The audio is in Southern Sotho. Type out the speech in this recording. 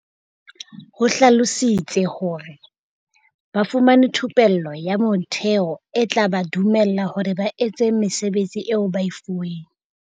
O hlalositse hore, Ba fumane thupello ya motheo e tla ba dumella hore ba etse mesebetsi eo ba e fuweng.